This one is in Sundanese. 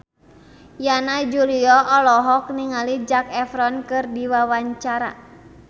Yana Julio olohok ningali Zac Efron keur diwawancara